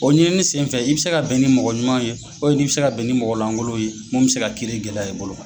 O ɲinini senfɛ i bɛ se ka bɛn ni mɔgɔ ɲuman ye o i bɛ se ka bɛn ni mɔgɔ lankolon ye mun bɛ se ka kiiri gɛlɛya i bolo.